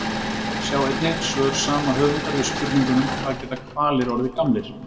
Sjá einnig: Svör sama höfundar við spurningunum Hvað geta hvalir orðið gamlir?